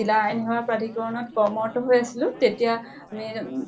জিলা আইন সেৱা প্ৰাধিকৰণত কৰ্মৰত হৈ আছিলো তেতিয়া মি অম